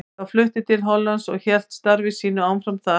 Þá flutti til Hollands og hélt starfi sínu áfram þar.